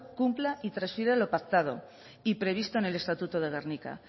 cumpla y transfiera lo pactado y previsto en el estatuto de gernika